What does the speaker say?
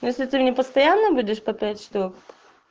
если ты не постоянно будешь по пять штук